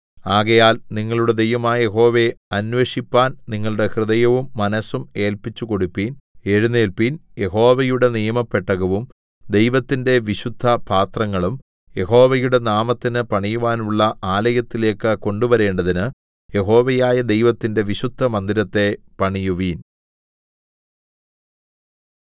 ആകയാൽ നിങ്ങളുടെ ദൈവമായ യഹോവയെ അന്വേഷിപ്പാൻ നിങ്ങളുടെ ഹൃദയവും മനസ്സും ഏല്പിച്ചുകൊടുപ്പിൻ എഴുന്നേല്പിൻ യഹോവയുടെ നിയമപെട്ടകവും ദൈവത്തിന്റെ വിശുദ്ധപാത്രങ്ങളും യഹോവയുടെ നാമത്തിന് പണിയുവാനുള്ള ആലയത്തിലേക്കു കൊണ്ടുവരേണ്ടതിന് യഹോവയായ ദൈവത്തിന്റെ വിശുദ്ധമന്ദിരത്തെ പണിയുവിൻ